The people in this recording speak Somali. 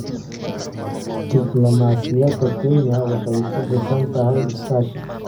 Diblomaasiyadda Kenya waxay ku dhisan tahay iskaashi